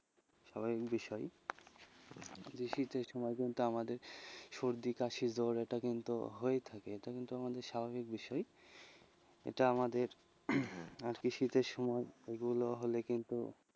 স্বাভাবিক বিষয় শীতের সময় কিন্তু আমাদের সর্দি কাশি জ্বর এটা কিন্তু হয়েই থাকে, এটা কিন্তু আমাদের স্বভাবিক বিষয়, এটা আমাদের হম শীতের সময় এগুলো হলে কিন্তু,